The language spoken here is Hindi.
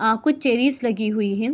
आपको चेयरीज लगी हुई है।